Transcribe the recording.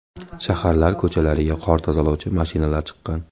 Shaharlar ko‘chalariga qor tozalovchi mashinalar chiqqan.